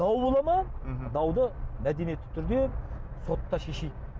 дау бола ма мхм дауды мәдениетті түрде сотта шешейік